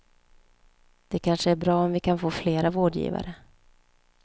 Det kanske är bra om vi kan få flera vårdgivare.